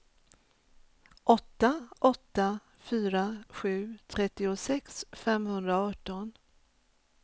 åtta åtta fyra sju trettiosex femhundraarton